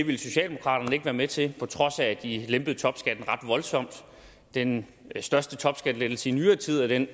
ville socialdemokraterne ikke være med til på trods af at de lempede topskatten ret voldsomt den største topskattelettelse i nyere tid er den